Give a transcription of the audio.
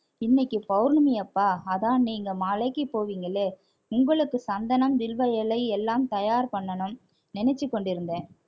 இன்னைக்கு பௌர்ணமி அப்பா அதான் நீங்க மலைக்கு போவீங்களே உங்களுக்கு சந்தனம் வில்வ இலை எல்லாம் தயார் பண்ணணும் நினைச்சுக் கொண்டிருந்தேன்